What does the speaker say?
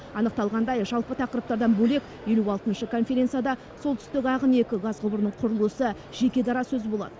анықталғандай жалпы тақырыптардан бөлек елу алтыншы конференцияда солтүстік ағын екі газ құбырының құрылысы жеке дара сөз болады